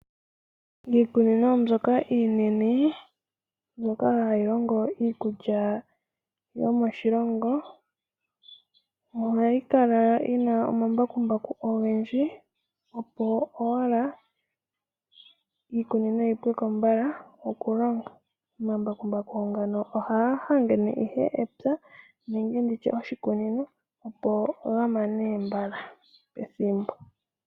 Iikunino mbyoka iinene mbyoka hayi longo iikulya yomoshilongo ohayi kala yi na omambakumbaku ogendji, opo owala iikunino yi pwe ko mbala okulongwa. Omambakumbaku ngano ohaga hangene ihe epya nenge oshikunino, opo ga mane mbala pethimbo.